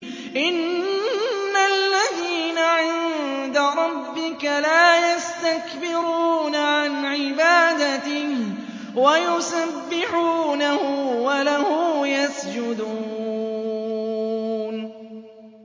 إِنَّ الَّذِينَ عِندَ رَبِّكَ لَا يَسْتَكْبِرُونَ عَنْ عِبَادَتِهِ وَيُسَبِّحُونَهُ وَلَهُ يَسْجُدُونَ ۩